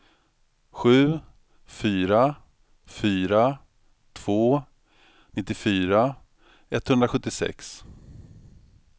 sju fyra fyra två nittiofyra etthundrasjuttiosex